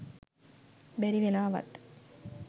බැරි වෙලාවත්